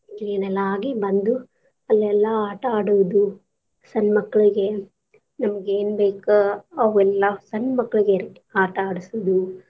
Clean ಎಲ್ಲಾ ಆಗಿ ಬಂದು ಅಲ್ಲೆಲ್ಲಾ ಆಟ ಆಡೋವ್ ಇದ್ವ ಸಣ್ಣ ಮಕ್ಕಳಗೆ ನಮ್ಗ ಏನ್ ಬೇಕ ಅವೆಲ್ಲಾ, ಸಣ್ಣ ಮಕ್ಳಗೆ ರಿ ಆಟಾ ಆಡ್ಸುದು.